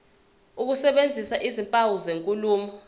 ukusebenzisa izimpawu zenkulumo